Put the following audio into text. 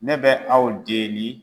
Ne bɛ aw deli.